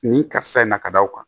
Nin karisa in na ka da o kan